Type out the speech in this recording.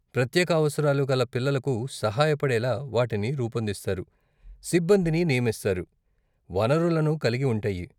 ప్రత్యేక అవసరాలు కల పిల్లలకు సహాయపడేలా వాటిని రూపొందిస్తారు, సిబ్బందిని నియమిస్తారు, వనరులను కలిగి ఉంటాయి.